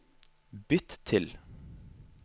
bytt til